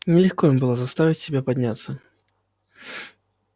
нелегко им было заставить себя подняться